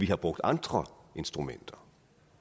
have brugt andre instrumenter